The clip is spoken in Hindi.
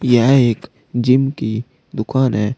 यह एक जिम की दुकान है।